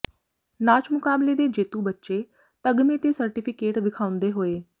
ਨਾਚ ਮੁਕਾਬਲੇ ਦੇ ਜੇਤੂ ਬੱਚੇ ਤਗਮੇ ਤੇ ਸਰਟੀਫਿਕੇਟ ਵਿਖਾਉਂਦੇ ਹੋਏ